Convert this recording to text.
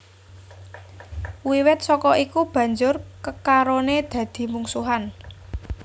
Wiwit saka iku banjur kekarone dadi mungsuhan